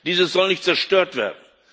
Dieses soll nicht zerstört werden.